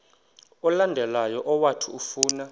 olandelayo owathi ufuna